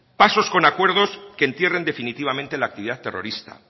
pasos con acuerdos que entierren definitivamente la actividad terrorista